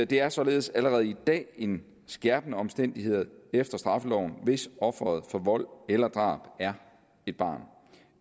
det er således allerede i dag en skærpende omstændighed efter straffeloven hvis offeret for vold eller drab er et barn